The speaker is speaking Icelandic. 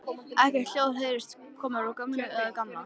Ekkert hljóð heyrðist frá ömmu eða Gamla.